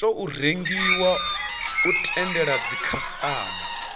tou rengiwa u tendela dzikhasitama